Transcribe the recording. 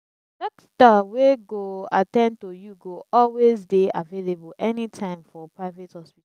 dokitor wey go at ten d to yu go always dey available anytme for private hospital